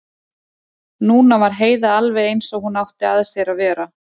Núna var Heiða alveg eins og hún átti að sér að vera.